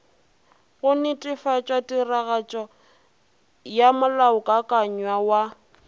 go netefatšatiragatšo ya molaokakanywa wa